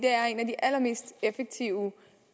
allermest effektive